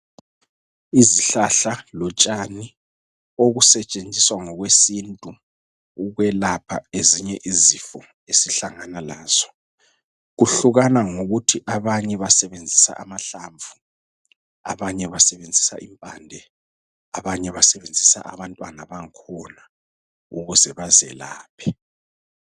Izihlahla lotshani, okusetshenziswa ngokwesintu, ukwelapha ezinye izifo esihlangana lazo. Kuhlukana ngokuthi, abanye basebenzisa amahlamvu, abanye basebenzisa impande. Abanye basebenzisa abantwana bang'khona ukuze bazelaphe.